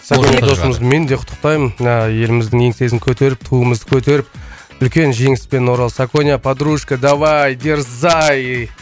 мен де құттықтаймын мына еліміздің еңсесін көтеріп туымызды көтеріп үлкен жеңіспен орал саконя подружка давай дерзай